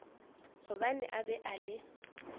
gobane a be a le